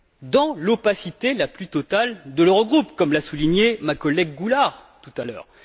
Dans l'opacité la plus totale de l'Eurogroupe, comme l'a souligné ma collègue Mme Goulard tout à l'heure.